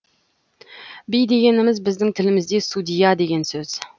би дегеніміз біздің тілімізде судья деген сөз